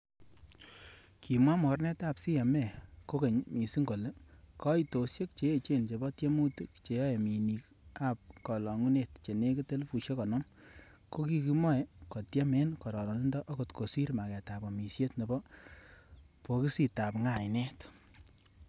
Kimwa mornetab CMA, kokeny missing kole, koitosiek che echen chebo tiemutik cheyoe minik ab kolongunet chenekit elfusiek konoom, kokikimoe kotiem en kororonindo akot kosir magetab amisiet nebo bokisitab ngainet.